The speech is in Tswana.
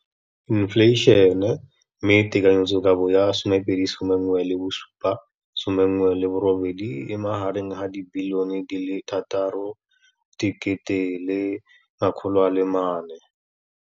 infleišene, mme tekanyetsokabo ya 2017 18 e magareng ga R6.4 bilione.